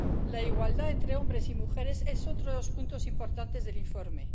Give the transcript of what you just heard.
La igualdad entre hombres y mujeres es otro de los puntos importantes del informe.